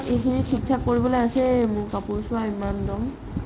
ইখিনি মই থিক থাক কৰিবলৈ আছেই মোৰ কাপোৰ চোৱা ইমান দম